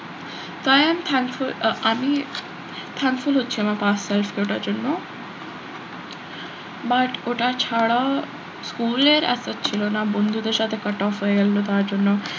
তাই am thankful ah আমি thankful হচ্ছি আমার জন্য but ওটা ছাড়া school এর একটা ছিল না, বন্ধুদের সাথে cut off হয়ে গেলো তার জন্য,